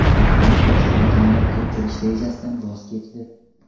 Eron insonni koinotga uchirish rejasidan voz kechdi.